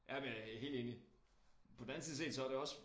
Ja men helt enig på den anden side set så det også